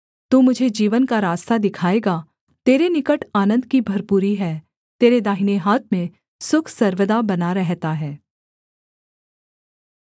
तू मुझे जीवन का रास्ता दिखाएगा तेरे निकट आनन्द की भरपूरी है तेरे दाहिने हाथ में सुख सर्वदा बना रहता है